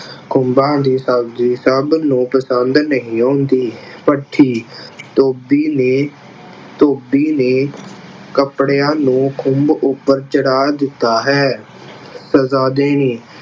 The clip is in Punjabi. ਖੁੰ ਭਾਂ ਦੀ ਸਬਜ਼ੀ ਸਭ ਨੂੰ ਪਸੰਦ ਨਹੀਂ ਆਉਂਦੀ। ਭੱਠੀ ਧੋਬੀ ਨੇ ਧੋਬੀ ਨੇ ਕੱਪੜਿਆਂ ਨੂੰ ਖੁੰਭ ਉੱਪਰ ਚੜਾ ਦਿੱਤਾ ਹੈ। ਸਜ਼ਾ ਦੇਣੀ